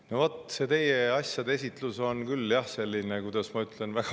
No vot, see teie asjade esitlus oli küll selline – kuidas ma ütlen?